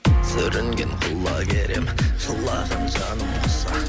сүрінген құлагер ем жылаған жаным қоса